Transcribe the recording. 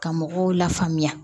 Ka mɔgɔw la faamuya